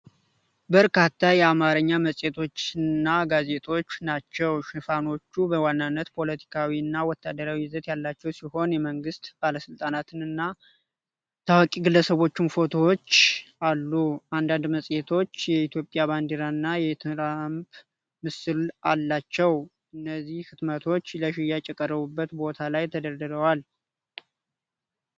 በርካታ የአማርኛ መጽሔቶችንና ጋዜጦች ናቸው። ሽፋኖቹ በዋናነት ፖለቲካዊና ወታደራዊ ይዘት ያላቸው ሲሆን፣ የመንግሥት ባለሥልጣናትና ታዋቂ ግለሰቦች ፎቶዎች አሉ። አንዳንድ መጽሔቶች የኢትዮጵያ ባንዲራ እና የትራምፕ ምስል አላቸው። እነዚህ ህትመቶች ለሽያጭ በቀረቡበት ቦታ ላይ ተደርድረዋል።